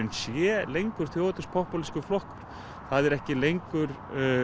sé lengur þjóðernis popúlískur flokkur það er ekki lengur